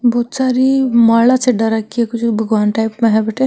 बहुत सारी माला चढ़ा राखी है भगवान् टाइप में है।